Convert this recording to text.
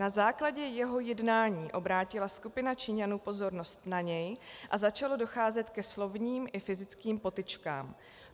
Na základě jeho jednání obrátila skupina Číňanů pozornost na něj a začalo docházet ke slovním i fyzickým potyčkám.